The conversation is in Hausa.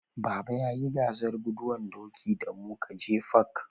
Baba ya yi gasar guduwan doki da mu ka je fak